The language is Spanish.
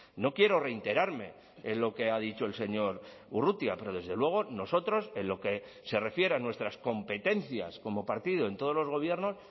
no quiero reiterarme en lo que ha dicho el señor urrutia pero desde luego nosotros en lo que se refiere a nuestras competencias como partido en todos los gobiernos